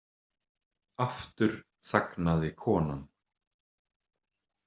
Aftur þagnaði konan.